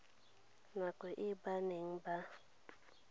nako e ba neng ba